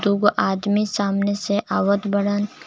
दूगो आदमी सामने से आवत बाड़न.